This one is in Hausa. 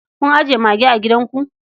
Kun ajiye mage a gidanku?